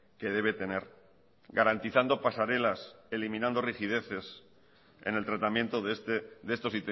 que debe tener garantizando pasarelas eliminando rigideces en el tratamiento de estos